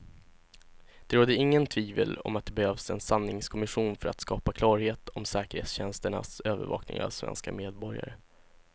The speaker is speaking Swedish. Det råder inget tvivel om att det behövs en sanningskommission för att skapa klarhet om säkerhetstjänsternas övervakning av svenska medborgare.